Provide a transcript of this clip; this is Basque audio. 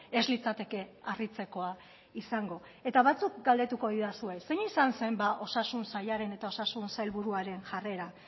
ez litzateke harritzekoa izango eta batzuk galdetuko didazue zein izan zen osasun sailaren eta osasun sailburuaren jarrera